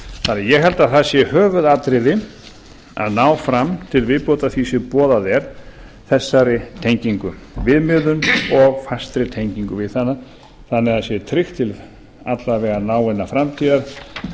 desember ég held að það sé höfuðatriði að ná fram til viðbótar því sem boðað er þessari tengingu viðmiðun og fastri tengingu við hana þannig að það sé tryggt til alla vega náinnar framtíðar